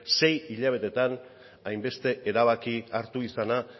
sei hilabetetan hainbeste erabaki hartu izana